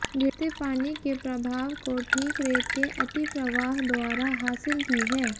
गिरते पानी के प्रभाव को ठीक रेत के अतिप्रवाह द्वारा हासिल की है